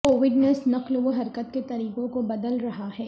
Covid انیس نقل و حرکت کے طریقوں کو بدل رہا ہے